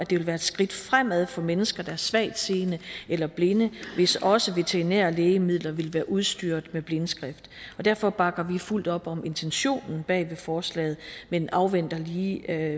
ville være et skridt fremad for mennesker der er svagtseende eller binde hvis også veterinære lægemidler ville være udstyret med blindskrift derfor bakker vi fuldt op om intentionen bag forslaget men vi afventer lige